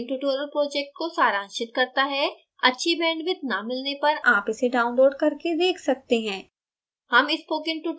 यह video spoken tutorial project को सारांशित करता है अच्छी bandwidth न मिलने पर आप इसे download करके देख सकते हैं